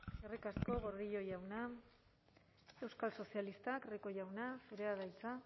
eskerrik asko gordillo jauna euskal sozialistak rico jauna zurea da hitza